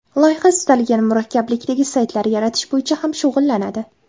Loyiha istalgan murakkablikdagi saytlar yaratish bo‘yicha ham shug‘ullanadi.